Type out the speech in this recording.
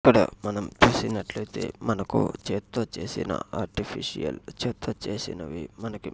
ఇక్కడ మనం చేసినట్లు అయితే మనకు చేతితో చేసిన ఆర్టిఫిషల్ చేతితో చేసినవి మనకి --